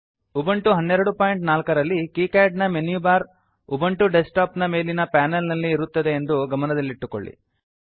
Ubuntu 1204 ರಲ್ಲಿ KiCad ನ menu bar Ubuntu desktop ನ ಮೇಲಿನ ಪಾನಲ್ ನಲ್ಲಿ ಇರುತ್ತದೆ ಎಂದು ಗಮನದಲ್ಲಿಟ್ಟುಕೊಳ್ಳಿ